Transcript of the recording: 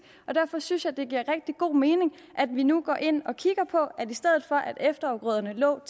derfor synes jeg det giver rigtig god mening at vi nu går ind og kigger på at i stedet for at efterafgrøderne lå